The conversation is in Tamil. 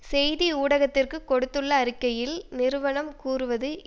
செய்தி ஊடகத்திற்கு கொடுத்துள்ள அறிக்கையில் நிறுவனம் கூறுவது